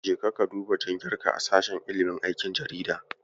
Jeka ka duba jingarka a sashen ilimin aikin jarida.